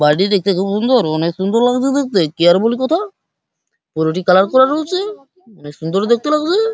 বাড়িটি দেখতে খুব সুন্দর অনেক সুন্দর লাগছে দেখতে কেয়ারফুলি কোথাও বাড়িটি কালার করা রয়েছে অনেক সুন্দর লাগছে দেখতে ।